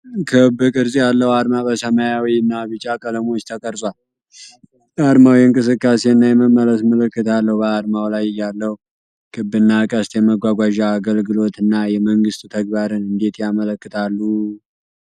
ክብ ቅርጽ ያለው ዓርማ በሰማያዊ እና ቢጫ ቀለሞች ተቀርጿል። ዓርማው የእንቅስቃሴ እና የመመለስ ምልክት አለው። በዓርማው ላይ ያለው ክብ እና ቀስት የመጓጓዣ አገልግሎት እና የመንግስት ተግባርን እንዴት ያመለክታሉ?